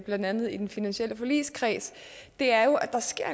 blandt andet i den finansielle forligskreds er jo at der sker